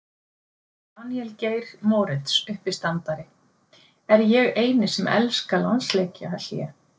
Daníel Geir Moritz uppistandari: Er ég eini sem elska landsleikjahlé?